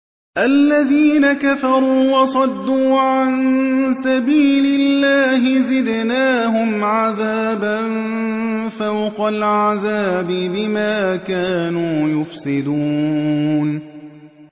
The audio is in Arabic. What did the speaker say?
الَّذِينَ كَفَرُوا وَصَدُّوا عَن سَبِيلِ اللَّهِ زِدْنَاهُمْ عَذَابًا فَوْقَ الْعَذَابِ بِمَا كَانُوا يُفْسِدُونَ